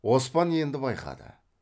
оспан енді байқады